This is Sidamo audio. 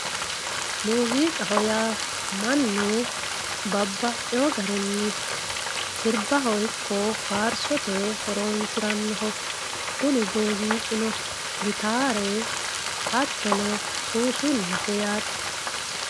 Muuziqaho ya manu babaxiwo garinni siribaho ikko faarisote horonsiranoho, kunni muuziqinno gittare hatonno suusulete yaate.